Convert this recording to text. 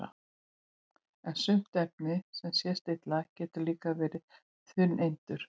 en sumt efni sem sést illa getur líka verið úr þungeindum